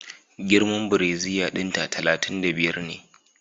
Girman brasier dinta talatin da biyar ne